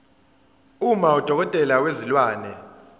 uma udokotela wezilwane